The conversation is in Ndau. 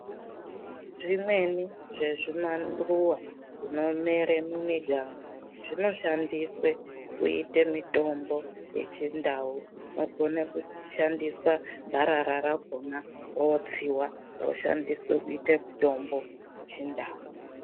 Zvimweni zvemumaruwa zvinomera mumiganga zvinoshandiswa kuita mitombo yechindau inogona kushandiswa gwarara rakona rotsiwa roshandiswa kuita mutombo wechindau.